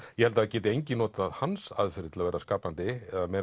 ég held að það geti enginn notað hans aðferðir til að vera skapandi eða meira